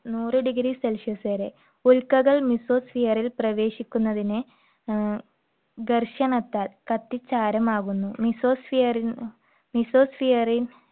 നൂറ് degree Celsius വരെ. ഉൽക്കകൾ mesosphere ൽ പ്രവേശിക്കുന്നതിനെ ഉം ദർശനത്താൽ കത്തി ചാരമാകുന്നു. mesosphere ഉം mesosphere